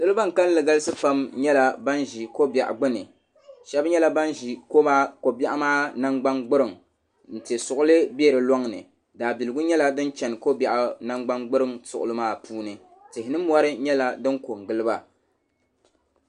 Salo ban kanli galisi yɛla pam yɛla ban zi ko bɛɣu gbuni ahɛba yɛla ban zi kobɛɣu maa namgbani gburiŋ n ti suɣili bɛ si lɔŋni daa biligu yɛla din chɛna kobɛɣu nangban gbueiŋ suɣili maa puuni tihi ni mori yɛla din ko ngili ba.